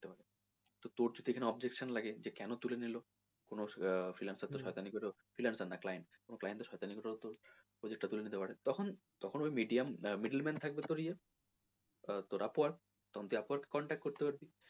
তো তোর যদি এখানে objection লাগে যে কেনো তুলে নিলো কোনো আহ freelancer তোর সয়তানি করলো freelancer না তোর client তোর সয়তানি করলো project টা তুলে নিতে পারে তখন তোর medium middle man থাকবে তোর ইয়ে আহ তোর upwork তখন তুই upwork কে contact করতে পারবি।